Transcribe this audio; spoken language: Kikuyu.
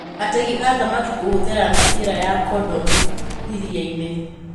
Ategi a thamaki kũhũthĩra mĩbira ya kondomu iria-inĩ